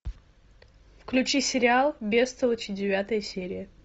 включи сериал бестолочи девятая серия